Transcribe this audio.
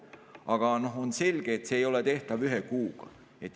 Aga on selge, et see ei ole tehtav ühe kuuga.